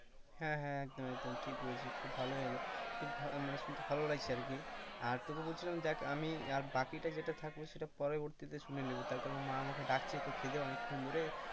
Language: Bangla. হ্যাঁ হ্যাঁ একদম একদম ঠিক বলেছিস খুব ভালোই হলো, মানে শুনতে খুব ভালো লাগছে আর কি আর তোকে বলছিলাম দেখ আমি আজ বাকিটা যেটা আছে থাকবে সেটা পরবর্তী শুনে নেব। তার কারণ মা আমাকে ডাকছে খেতে অনেকক্ষণ ধরে।